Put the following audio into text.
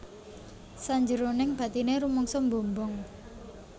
Sanjeroning batine rumangsa mbombong